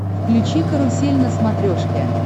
включи карусель на смотрешке